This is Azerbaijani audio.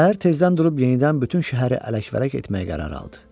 Səhər tezdən durub yenidən bütün şəhəri ələk-vələk etməyə qərar aldı.